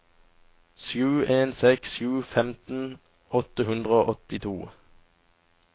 sju en seks sju femten åtte hundre og åttito